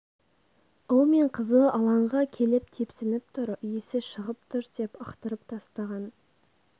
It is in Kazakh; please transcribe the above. ұл мен қызы алаңға келіп тепсініп тұр иісі шығып тұр деп ықтырып тастаған